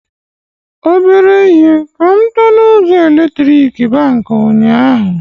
Ọbere ihe ka mụ tọ na ụzọ eletrik Baankị ụnyaahụ